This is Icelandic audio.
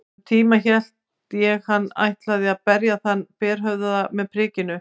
Um tíma hélt ég hann ætlaði að berja þann berhöfðaða með prikinu.